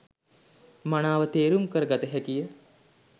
මනාව තේරුම් කර ගත හැකි ය.